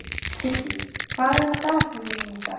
Kiddý, hvað er á dagatalinu mínu í dag?